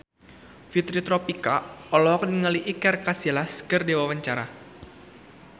Fitri Tropika olohok ningali Iker Casillas keur diwawancara